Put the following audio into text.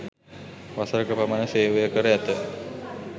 වසරක පමණ සේවය කර ඇත